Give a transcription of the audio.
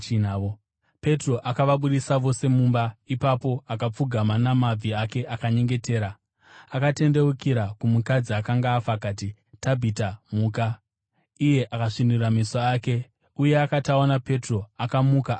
Petro akavabudisa vose mumba; ipapo akapfugama namabvi ake akanyengetera. Akatendeukira kumukadzi akanga afa akati, “Tabhita, muka.” Iye akasvinura meso ake, uye akati aona Petro, akamuka akagara.